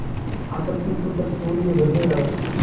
आपत्तिसूचक तूर्य बजने लगा